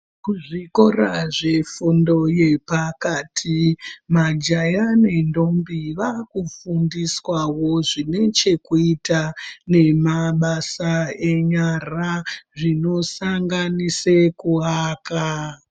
Kuzvikora kwefundo yepakati majaya nendombi vaakufundiswawo zvinechekuita nemabasa enyara zvinosanganisa kuaka.